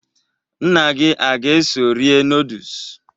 Nna gị aga-eso rie nọọdụs?